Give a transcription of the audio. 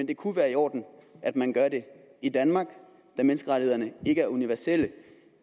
det kunne være i orden at man gør det i danmark da menneskerettighederne ikke er universelle